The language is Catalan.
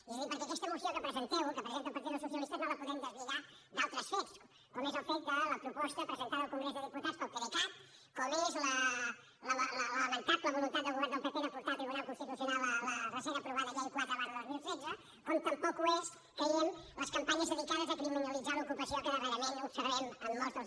és a dir perquè aquesta moció que presenteu que presenta el partit dels socialistes no la podem deslligar d’altres fets com és el fet de la proposta presentada al congrés dels diputats pel pdecat com és la lamentable voluntat del govern del pp de portar al tribunal constitucional la recent aprovada llei quatre dos mil setze com tampoc ho són creiem les campanyes dedicades a criminalitzar l’ocupació que darrerament observem en molts dels